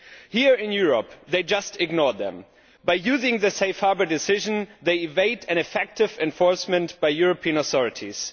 Here in Europe they just ignored them. By using the Safe Harbour decision they evade effective enforcement by European authorities.